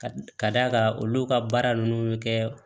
Ka d'a kan olu ka baara ninnu bɛ kɛ